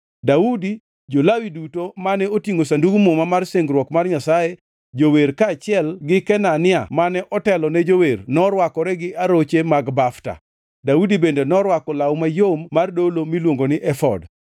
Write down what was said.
Daudi, jo-Lawi duto mane otingʼo Sandug Muma mar singruok mar Nyasaye, jower kaachiel gi Kenania mane otelo ne jower norwakore gi aroche mag bafta. Daudi bende norwako law mayom mar dolo miluongo ni efod.